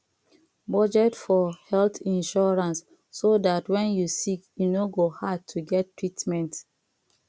budget for health insurance so dat when you sick e no go hard to get treatment